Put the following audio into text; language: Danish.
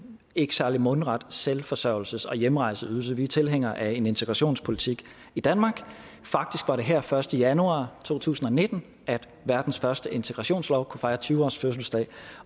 ikke særlig mundret selvforsørgelses og hjemrejseydelse vi er tilhængere af en integrationspolitik i danmark faktisk var det her den første januar to tusind og nitten at verdens første integrationslov kunne fejre tyve års fødselsdag